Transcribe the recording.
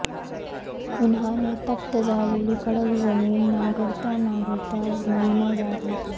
उन्हाने तप्त झालेली कडक जमीन नांगरता नांगरता महीना जात होता